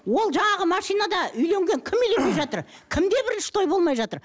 ол жаңағы машинада үйленген кім үйленбей жатыр кімде бірінші той болмай жатыр